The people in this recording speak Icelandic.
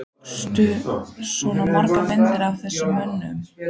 Tókstu svona margar myndir af þessum mönnum?